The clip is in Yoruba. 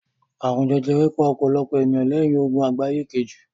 Àrùn jẹjẹrẹ pa ọ̀pọ̀lọpọ̀ ènìyàn lẹ́yìn Ogun Àgbáyé Kejì